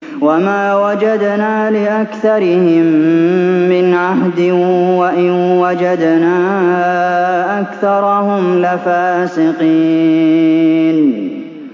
وَمَا وَجَدْنَا لِأَكْثَرِهِم مِّنْ عَهْدٍ ۖ وَإِن وَجَدْنَا أَكْثَرَهُمْ لَفَاسِقِينَ